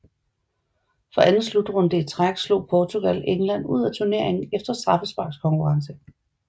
For anden slutrunde i træk slog Portugal England ud af turneringen efter straffesparkskonkurrence